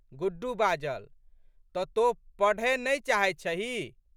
गुड्डू बाजल। तऽ तोँ पढ़ए नहि चाहैत छहीं?